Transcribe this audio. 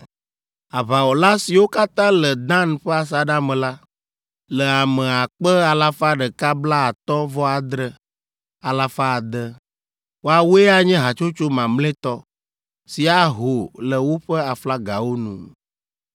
Aʋawɔla, siwo katã le Dan ƒe asaɖa me la, le ame akpe alafa ɖeka blaatɔ̃-vɔ-adre, alafa ade (157,600). Woawoe anye hatsotso mamlɛtɔ, si aho le woƒe aflagawo nu.